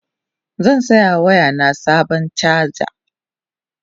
zan saya wa waya na Sabon chaja